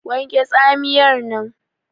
Wanke Tsamiyar nan!